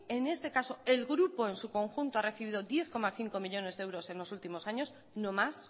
en este caso el grupo en su conjunto ha recibido diez coma cinco millónes de euros en los últimos años no más